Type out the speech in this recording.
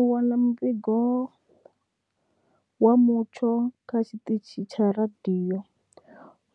U wana muvhigo wa mutsho kha tshiṱitshi tsha radio